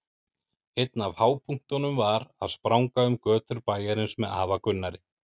Einn af hápunktunum var að spranga um götur bæjarins með afa Gunnari.